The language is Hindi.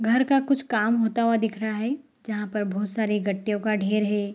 घर का कुछ काम होता हुआ दिख रहा है जहां पर बहुत सारे गट्टीयों का ढेर है।